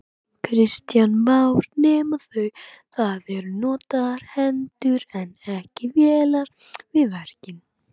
Kristján Már: Nema það eru notaðar hendur en ekki vélar við verkin?